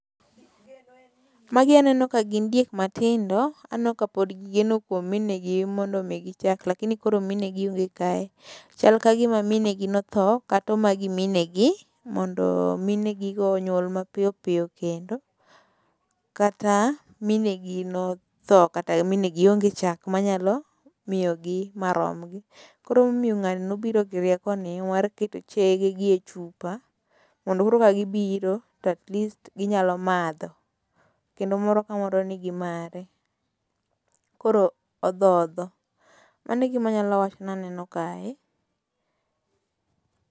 Magi aneno ka gin diek matindo. Aneno ka pod gi geno kuom mine gi mondo omi gi chak lakini koro minegi onge kae. Chal ka gima minegi notho kata omagi minegi mondo minegi go onyuol mapiyo piyo kendo. Kata minegi notho kata minegi onge chak manyalo miyogi ma romgi. Koro ema omiyo ng'ani nobiro gi rieko ni mar keto chege gi e chupa mondo urwa gibiro to atleast ginyalo madho. Kendo moro ka moro nigi mare. Koro odhodho. Mano e gima anyalo wacho ni aneno kae.